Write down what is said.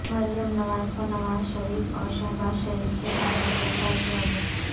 مریم نواز کو نوازشریف اور شہبازشریف کے سامنے گرفتار کیاگیا